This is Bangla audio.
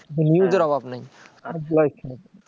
news এর অভাব নেই